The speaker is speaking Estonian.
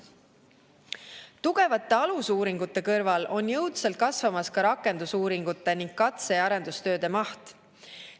Tugevate alusuuringute kõrval on jõudsalt kasvamas ka rakendusuuringute ning katse‑ ja arendustööde maht.